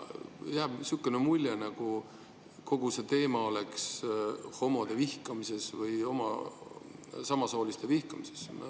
Jääb niisugune mulje, nagu kogu see teema tähendaks homode vihkamist või samasooliste vihkamist.